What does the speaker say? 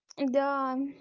да